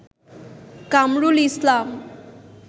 Kamrul Islam